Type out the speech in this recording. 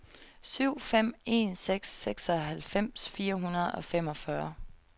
syv fem en seks seksoghalvfems fire hundrede og femogfyrre